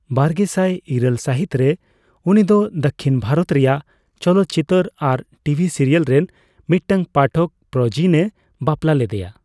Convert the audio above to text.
ᱵᱟᱨᱜᱮᱥᱟᱭ ᱤᱨᱟᱹᱞ ᱥᱟᱹᱦᱤᱛ ᱨᱮ, ᱩᱱᱤ ᱫᱚ ᱫᱟᱹᱠᱷᱤᱱ ᱵᱷᱟᱨᱚᱛ ᱨᱮᱭᱟᱜ ᱪᱚᱞᱚᱛᱪᱤᱛᱟᱹᱨ ᱟᱨ ᱴᱤᱵᱷᱤ ᱥᱤᱨᱤᱭᱟᱞ ᱨᱮᱱ ᱢᱤᱫᱴᱟᱝ ᱯᱟᱴᱷᱚᱠ ᱯᱨᱚᱡᱤᱱᱮ ᱵᱟᱯᱞᱟ ᱞᱮᱫᱮᱭᱟ ᱾